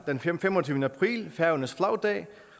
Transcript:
den femogtyvende april er færøernes flagdag